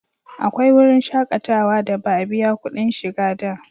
Akwai wurin shakatawa da ba a biya kudin shiga da